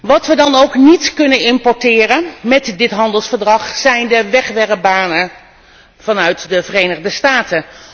Wat wij dan ook niet kunnen importeren mét dit handelsverdrag zijn de wegwerpbanen vanuit de Verenigde Staten.